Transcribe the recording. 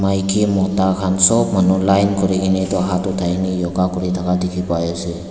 maiki mota khan sab manu line kuri ke ni etu hath uthai ni yoga kuri thaka dikhi pai ase.